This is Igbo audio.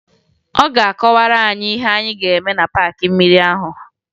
Ọ ga-akọwara anyị ihe anyị ga-eme na paakị mmiri ahụ